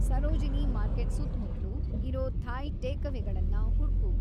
Sarojini market ಸುತ್ತ್‌ಮುತ್ಲು ಇರೋ Thai ಟೇಕವೇಗಳನ್ನ ಹುಡ್ಕು